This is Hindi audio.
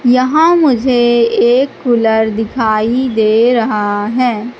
यहां मुझे एक कूलर दिखाई दे रहा हैं।